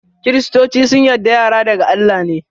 kiristoci sun yarda yara daga Allah ne.